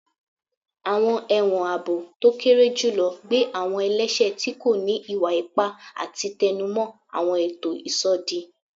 Awọn ẹwọn aabo to kere julọ gbe awọn ẹlẹṣẹ ti ko ni iwa-ipa ati tẹnumọ awọn eto isodi